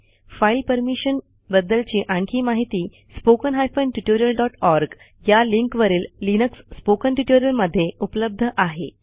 file permission बद्द्लची आणखी माहिती spoken tutorialओआरजी या लिंकवरील लिनक्स स्पोकन ट्युटोरियल्समधे उपलब्ध आहे